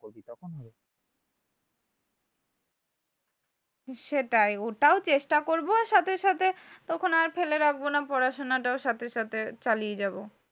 সেটাই ওটাও চেষ্টা করব সাথে সাথে তখন আর ফেলে রাখবোনা পড়াশোনাটাও সাথে সাথে চালিয়ে যাবো।